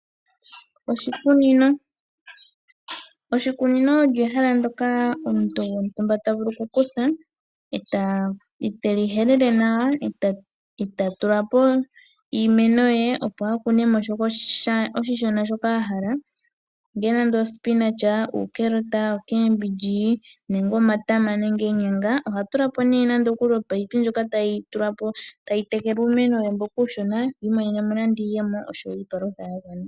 Oshikunino Oshikunino olyo ehala ndyoka omuntu gontumba ta vulu okukutha, ete li helele nawa, eta tula po iimeno ye opo a kune mo oshishona shoka oshishona a hala, ongele omboga, uunawandesha, omatama nenge oonyanga. Oha tula po ne ominino tadhi tekele uumeno we mboka uushona, imonene mo iiyemo osho wo iipalutha yagwana.